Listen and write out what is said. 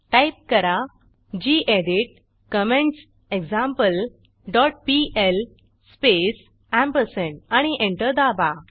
type करा gedit comments example dot PL space आणि enter दाबा